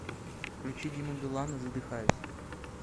включи диму билана задыхаюсь